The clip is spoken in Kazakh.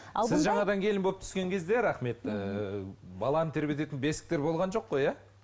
жаңадан келін болып түскен кезде рахмет ііі баланы тербететін бесіктер болған жоқ қой иә